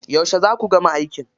Yauce za ku gama aikin?